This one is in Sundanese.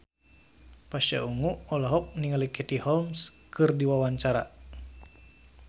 Pasha Ungu olohok ningali Katie Holmes keur diwawancara